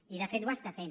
i de fet ho està fent